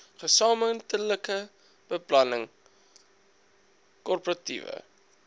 gesamentlike beplanning koöperatiewe